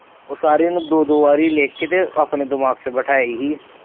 ਉਹ ਸਾਰੇ ਨੂੰ ਦੋ ਦੋ ਵਾਰੀ ਲਿੱਖ ਕੇ ਤੇ ਆਪਣੇ ਦਿਮਾਗ ਚ ਬਿਠਾਏ ਸੀ।